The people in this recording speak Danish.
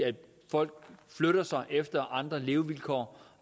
folk flytter sig efter at finde andre levevilkår